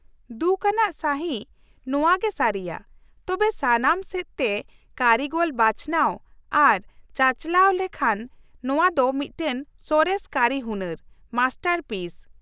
ᱫᱩᱠᱷ ᱟᱱᱟᱜ ᱥᱟᱹᱦᱤᱡ ᱱᱚᱶᱟ ᱜᱮ ᱥᱟᱹᱨᱤᱭᱟ, ᱛᱚᱵᱮ ᱥᱟᱱᱟᱢ ᱥᱮᱫ ᱛᱮ ᱠᱟᱹᱨᱤᱜᱚᱞ ᱵᱟᱪᱷᱱᱟᱣ ᱟᱨ ᱪᱟᱪᱟᱞᱟᱣ ᱨᱮ ᱞᱮᱱᱠᱷᱟᱱ, ᱱᱚᱶᱟ ᱫᱚ ᱢᱤᱫᱴᱟᱝ ᱥᱚᱨᱮᱥ ᱠᱟᱹᱨᱤ ᱦᱩᱱᱟᱹᱨ (ᱢᱟᱥᱴᱟᱨ ᱥᱤᱯ) ᱾